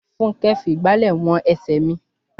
Fúnkẹ́ fi ìgbàlẹ̀ wọn ẹsẹ̀ mi.